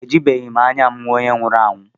Ejibeghị m anya m hụ onye nwụrụ anwụ